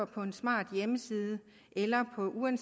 på en smart hjemmeside eller på en